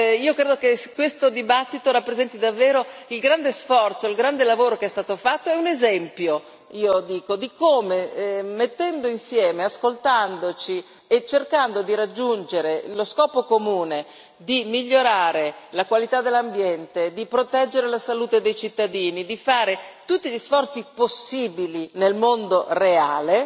Io credo che questa discussione rappresenti davvero il grande sforzo, il grande lavoro che è stato fatto e un esempio di come, mettendo insieme le nostre energie, ascoltandoci e cercando di raggiungere lo scopo comune di migliorare la qualità dell'ambiente, di proteggere la salute dei cittadini, di compiere tutti gli sforzi possibili nel mondo reale,